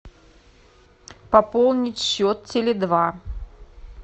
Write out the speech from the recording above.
пополнить счет теле два